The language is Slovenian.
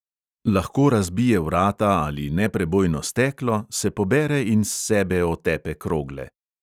Lahko razbije vrata ali neprebojno steklo, se pobere in s sebe otepe krogle.